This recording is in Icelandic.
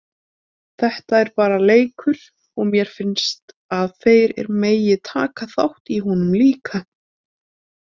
Þetta er bara leikur og mér finnst að þeir megi taka þátt í honum líka.